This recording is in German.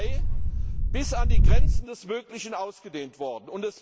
9. Mai bis an die Grenzen des Möglichen ausgedehnt worden.